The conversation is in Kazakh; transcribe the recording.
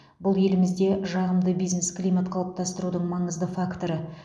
бұл елімізде жағымды бизнес климат қалыптастырудың маңызды факторы